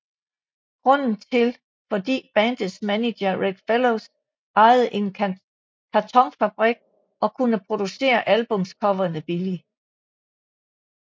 Grunden til fordi bandets manager Reg Fellows ejede en kartonfabrik og kunne producere albumcoverene billigt